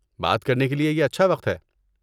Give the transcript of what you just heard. بات کرنے کے لیے یہ اچھا وقت ہے۔